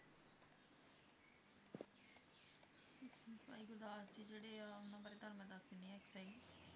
ਭਾਈ ਗੁਰਦਾਸ ਜੀ ਜਿਹੜੇ ਆ ਉਹਨਾਂ ਬਾਰੇ ਤੁਹਾਨੂੰ ਮੈ ਦੱਸ ਦਿੰਨੀ ਆ